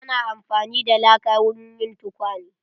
Ana amfani da laka wurin yin tukwane.